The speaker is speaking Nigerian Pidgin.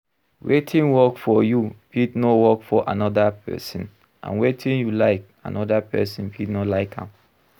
Wetin work for you fit no work for anoda person, and wetin you like, anoda person fit no like am